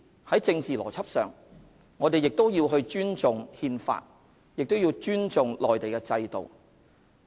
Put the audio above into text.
在政治邏輯上，我們必須尊重《憲法》和內地的制度。